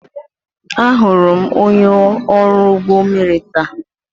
Ahụrụ m onye ọrụ ụgbọ mmiri taa.